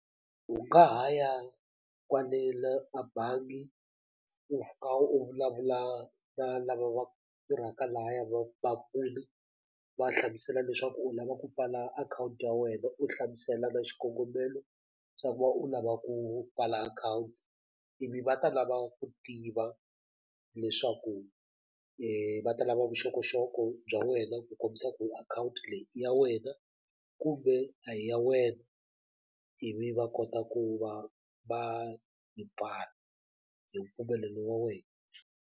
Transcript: U nga ha ya kwale la a bangi u kha u vulavula na lava va tirhaka lahaya vapfuni va hlamusela leswaku u lava ku pfala akhawunti ya wena u hlamuselaka xikongomelo xa ku va u lava ku pfala akhawunti ivi va ta lava ku tiva leswaku va ta lava vuxokoxoko bya wena ku kombisa ku akhawunti leyi i ya wena kumbe a hi ya wena ivi va kota ku va va yi pfala hi mpfumelelo wa wena.